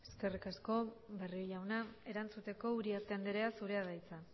eskerrik asko barrio jauna erantzuteko uriarte anderea zurea da hitza